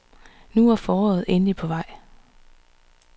Nu er foråret endelig på vej.